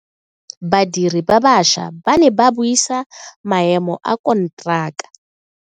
Badiri ba baša ba ne ba buisa maemo a konteraka.